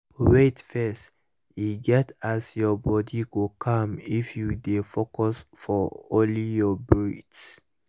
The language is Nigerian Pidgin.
wait first e get as your body go calm if you dey focus for only your breath